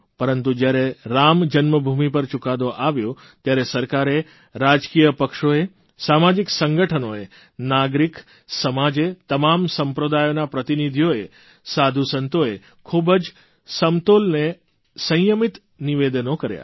પરતું જયારે રામ જન્મભૂમિ પર ચૂકાદો આવ્યો ત્યારે સરકારે રાજકીય પક્ષોએ સામાજિક સંગઠનોએ નાગરિક સમાજે તમામ સંપ્રદાયોના પ્રતિનિધિઓએ સાધુસંતોએ ખૂબ જ સમતોલને સંયમિત નિવેદનો કર્યા